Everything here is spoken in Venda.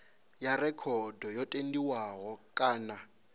ya rekhodo yo tendiwa kana